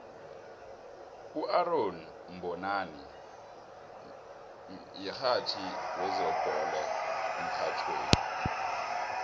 uaaron mbonani mihatjhi wezebhole emrhatjhweni